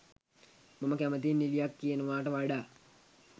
මම කැමැතියි නිළියක් කියනවට වඩා